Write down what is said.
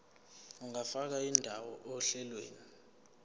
ungafaka indawo ohlelweni